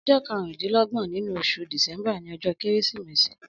Ọjọ kàrùndilọgbọ̀n ninú óṣú disẹmbà ni ọjọ kérésimési